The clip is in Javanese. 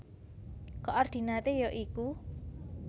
Koordinaté ya iku